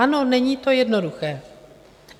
Ano, není to jednoduché.